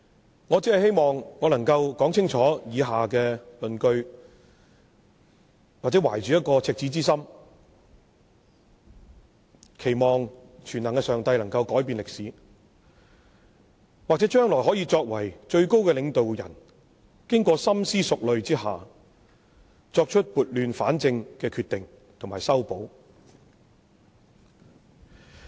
主席，我只是希望我能夠說清楚以下的論據，或者懷着赤子之心，期望全能的上帝能夠改變歷史，或者將來讓最高的領導人經過深思熟慮下，作出撥亂反正的決定和修補。